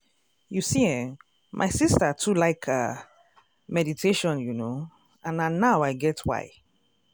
you see eh my sister too like ah meditation you know and na now i get why.